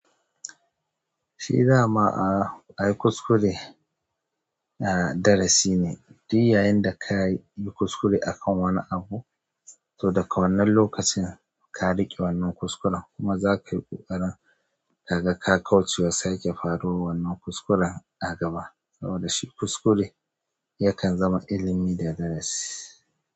Shi dama a yi kuskure, ah darasi ne. Duk yayinda ka yi kuskure akan wani abu, to daga wannan lokacin ka riƙe wannan kuskuren kuma zaka yi ƙoƙarin ka ga ka kaucewa sake faruwar wannan kuskuren a gaba. Saboda shi kuskure yakan zama ilimi da darasi.